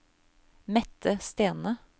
Mette Stene